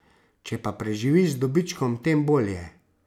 Če pa preživiš z dobičkom, tem bolje.